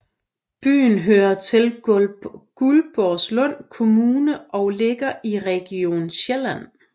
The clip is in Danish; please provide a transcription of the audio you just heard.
Byen hører til Guldborgsund Kommune og ligger i Region Sjælland